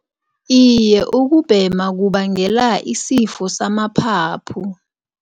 Iye, ukubhema kubangela isifo samaphaphu.